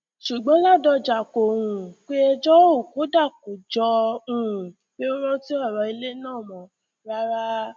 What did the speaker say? ṣùgbọn ládọjà kò um pé ẹjọ ò kódà kò jọ um pé ó rántí ọrọ ilé náà mọ rárá